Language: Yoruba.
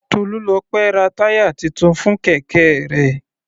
Tolulope ra táyà titun fún kẹ̀kẹ́ rẹ̀.